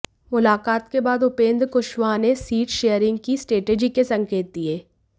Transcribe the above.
मुलाकात के बाद उपेंद्र कुशवाहा ने सीट शेयरिंग की स्ट्रेटजी के संकेत दिए